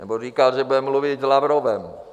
Nebo říkal, že bude mluvit s Lavrovem.